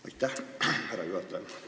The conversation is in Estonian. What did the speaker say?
Aitäh, härra juhataja!